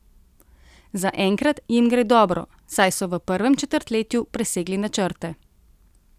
Zaenkrat jim gre dobro, saj so v prvem četrtletju presegli načrte.